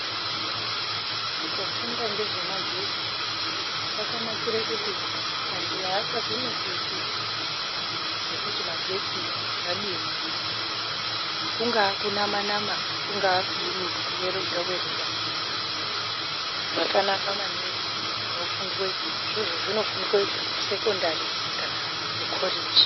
Kufunda ngezvemagetsi kwakanakire kuti antu haachazo neseki ngekuti magetsi zvadini. Kungaa kunama-nama kungaa kudini kuwerodha-werodha, zvakanaka maningi zvinofundwe. Izvozvo zvinofundwe kusekondari kana kukoreji.